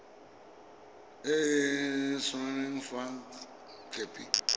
e e saenweng fa khopi